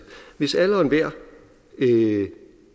hvis alle og enhver